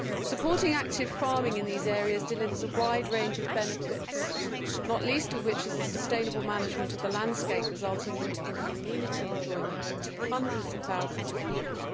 Supporting active farming in these areas delivers a wide range of benefits, not least of which is the sustainable management of the landscape resulting in amenity enjoyment for hundreds of thousands of people.